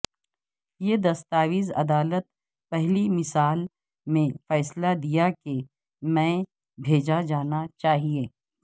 یہ دستاویز عدالت پہلی مثال میں فیصلہ دیا کہ میں بھیجا جانا چاہیے